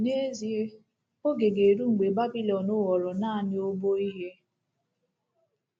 N’ezie, oge ga-eru mgbe Babilọn ghọrọ naanị obo ihe.